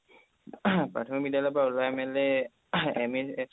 প্ৰাথমিক বিদ্যালয়ৰ পৰা ওলাই মেলি